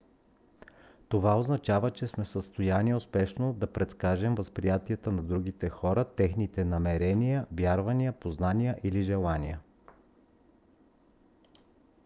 това означава че сме в състояние успешно да предскажем възприятията на другите хора техните намерения вярвания познание или желания